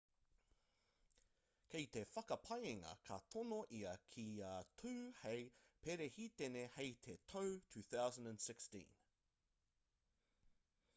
kei te whakapaengia ka tono ia kia tū hei perehitene hei te tau 2016